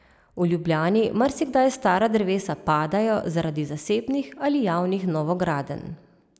V Ljubljani marsikdaj stara drevesa padajo zaradi zasebnih ali javnih novogradenj.